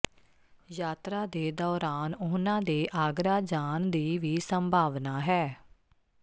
ਯਾਤਰਾ ਦੇ ਦੌਰਾਨ ਉਨ੍ਹਾਂ ਦੇ ਆਗਰਾ ਜਾਣ ਦੀ ਵੀ ਸੰਭਾਵਨਾ ਹੈ